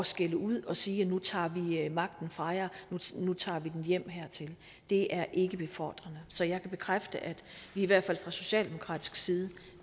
skælde ud og sige nu tager vi magten fra jer nu tager vi den hjem hertil det er ikke befordrende så jeg kan bekræfte at vi i hvert fald fra socialdemokratisk side